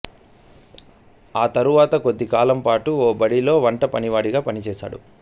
ఆ తర్వాత కొద్ది కాలం పాటు ఓ బడిలో వంట పనివాడిగా పనిచేశాడు